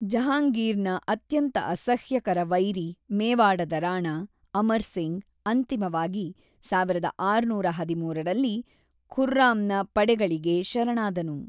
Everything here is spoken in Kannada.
ಜಹಾಂಗೀರ್‌ನ ಅತ್ಯಂತ ಅಸಹ್ಯಕರ ವೈರಿ ಮೇವಾಡದ ರಾಣಾ, ಅಮರ್ ಸಿಂಗ್, ಅಂತಿಮವಾಗಿ ಸಾವಿರದ ಆರುನೂರ ಹದಿಮೂರರಲ್ಲಿ ಖುರ್ರಾಮ್‌ನ ಪಡೆಗಳಿಗೆ ಶರಣಾದನು.